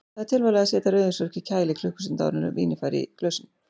Því er tilvalið að setja rauðvínsflösku í kæli klukkustund áður en vínið fer í glösin.